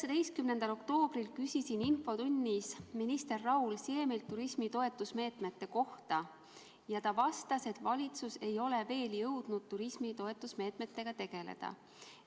19. oktoobril küsisin infotunnis minister Raul Siemilt turismi toetusmeetmete kohta ja ta vastas, et valitsus ei ole veel jõudnud turismi toetamise meetmetega tegeleda.